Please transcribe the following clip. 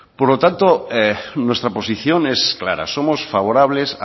por lo tanto nuestra posición es clara somos favorables